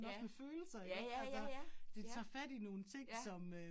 Ja, ja ja ja ja, ja, ja